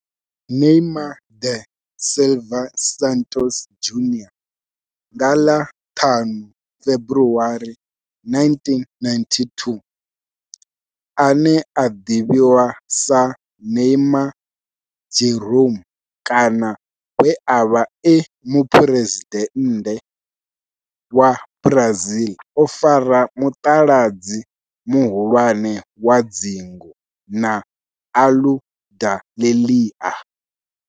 Neymar da Silva Santos Junior nga ḽa 5 February 1992, ane a ḓivhiwa sa Ne'ymar' Jeromme kana we a vha e muphuresidennde wa Brazil o fara mutaladzi muhulwane wa dzingu na Aludalelia.